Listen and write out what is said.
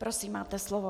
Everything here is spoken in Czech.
Prosím, máte slovo.